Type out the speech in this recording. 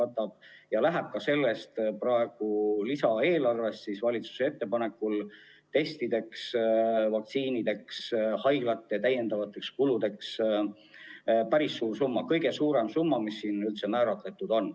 Ja nii läheb ka praegusest lisaeelarvest valitsuse ettepanekul testidele, vaktsiinidele, haiglate lisakulude katmisele päris suur summa, kõige suurem summa, mis siin üldse on määratud.